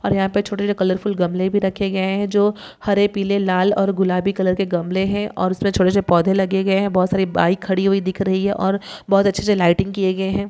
और यहाँ पर छोटे से कलरफूल गमले भी रखे गए हैं जो हरे पिले लाल और गुलाबी कलर के गमले हैं और उसमे छोटे से पौधे भी लगे गए हैं बहुत सारी बाइक रखी हुई दिख रही हैं और बहुत अच्छे से लाइटिंग किये गए हैं।